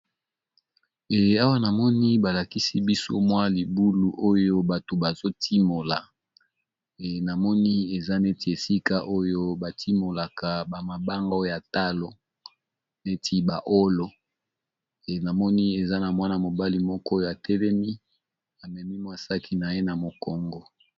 Awa namoni balakisi biso mwa libulu oyo bato bazotimola e namoni eza neti esika oyo batimolaka bamabanga ya talo neti ba olo, enamoni eza na mwana mobali moko ya telemi amemi mwasaki na ye na mokongo.